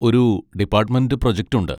ഒരു department project ഉണ്ട്.